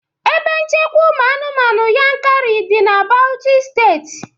Ebe nchekwa ụmụ anụmanụ Yankari dị na Bauchi Steeti